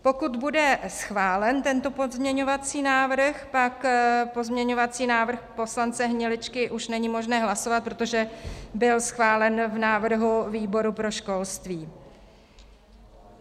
Pokud bude schválen tento pozměňovací návrh, pak pozměňovací návrh poslance Hniličky už není možné hlasovat, protože byl schválen v návrhu výboru pro školství.